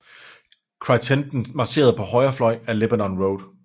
Crittenden marcherede på højre fløj ad Lebanon Road